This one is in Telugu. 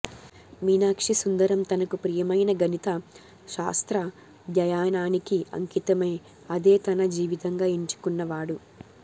మీనాక్షిసుందరం తనకు ప్రియమైన గణిత శాస్త్రాధ్యయనానికి అంకితమై అదే తన జీవితంగా ఎంచుకున్న వాడు